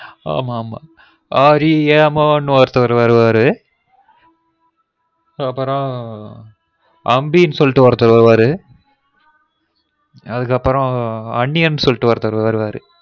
ஆமா ஆமா ஆ ரேமோனு ஒருத்தர் வருவாரு அப்றம் அம்பினு சொல்லிடு ஒருத்தர் வருவாரு அதுக்கப்பறம் அந்நியன் சொல்லிடு ஒருத்தர் வருவாரு